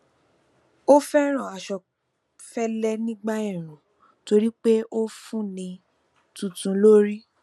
ó fẹràn aṣọ fẹlẹ nígbà èèrùn torí pé ó fún un ní túntún lórí